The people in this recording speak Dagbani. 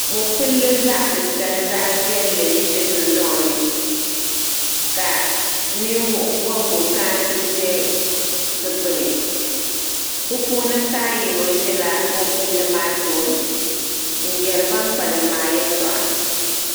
Mopilli zaɣtitali zaɣviɛlli n ʒe dundoŋni ka ninvuɣu bobigu kana ti ʒe di gbuni bɛ puuni paɣa yino ʒila mopilli maa tooni n yari ban kpalim maa yɛltɔɣa.